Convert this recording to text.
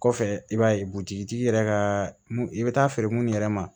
Kɔfɛ i b'a ye butigitigi yɛrɛ ka i bɛ taa feere mun yɛrɛ ma